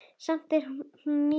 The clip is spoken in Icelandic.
Samt er hún ný.